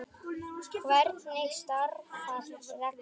Hvernig starfar reglan?